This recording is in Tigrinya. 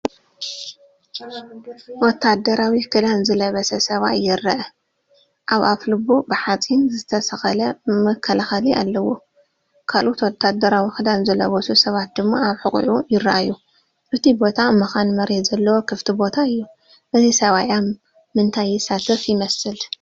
ወተሃደራዊ ክዳን ዝለበሰ ሰብኣይ ይረአ። ኣብ ኣፍልቡ ብሓጺን ዝተሰቕለ መከላኸሊ ኣለዎ፡ ካልኦት ወተሃደራዊ ክዳን ዝለበሱ ሰባት ድማ ኣብ ሕቖኡ ይረኣዩ። እቲ ቦታ መኻን መሬት ዘለዎ ክፉት ቦታ እዩ። እዚ ሰብኣይ ኣብ ምንታይ ይሳተፍ ይመስል?